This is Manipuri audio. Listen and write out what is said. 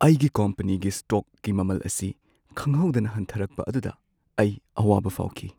ꯑꯩꯒꯤ ꯀꯝꯄꯅꯤꯒꯤ ꯁ꯭ꯇꯣꯛꯀꯤ ꯃꯃꯜ ꯑꯁꯤ ꯈꯪꯍꯧꯗꯅ ꯍꯟꯊꯔꯛꯄ ꯑꯗꯨꯗ ꯑꯩ ꯑꯋꯥꯕ ꯐꯥꯎꯈꯤ ꯫